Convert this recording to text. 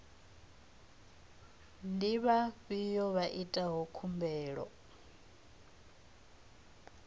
ndi vhafhio vha itaho khumbelo